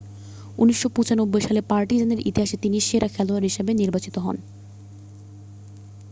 1995 সালে পার্টিজানের ইতিহাসে তিনি সেরা খেলোয়াড় হিসাবে নির্বাচিত হন